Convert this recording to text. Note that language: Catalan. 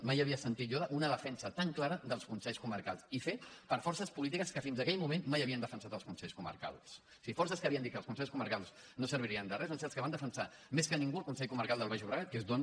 mai havia sentit jo una defensa tan clara dels consells comarcals i fet per forces polítiques que fins aquell moment mai havien defensat els consells comarcals o sigui forces polítiques que havien dit que els consells comarcals no servirien de res van ser els que van defensar més que ningú el consell comarcal del baix llobregat que és d’on